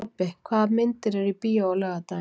Tobbi, hvaða myndir eru í bíó á laugardaginn?